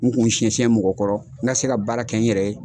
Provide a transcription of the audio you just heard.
N kun siyɛn siyɛn mɔgɔ kɔrɔ n ka se ka baara kɛ n yɛrɛ ye.